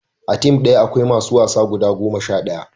a tim daya akwai masu wasa guda goma sha ɗaya